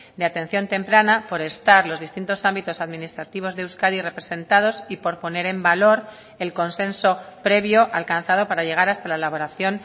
de atención temprana por estar los distintos ámbitos administrativos de euskadi representados y por poner en valor el consenso previo alcanzado para llegar hasta la elaboración